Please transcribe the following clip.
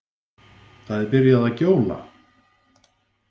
Það er byrjað að gjóla.